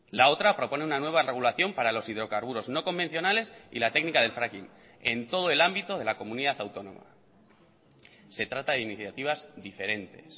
la otra propone una nueva regulación para los hidrocarburos no convencionales y la técnica del fracking en todo el ámbito de la comunidad autónoma se trata de iniciativas diferentes